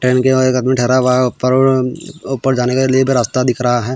Tent के बाहर एक आदमी ठहरा हुआ है और ऊपर ऊपर जाने के लिए भी रास्ता दिख रहा है.